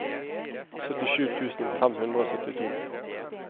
syttisju tusen fem hundre og syttito